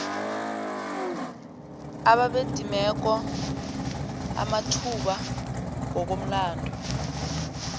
ababedimeke amathuba ngokomlando